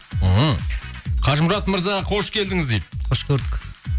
ммм қажымұрат мырза қош келдіңіз дейді қош көрдік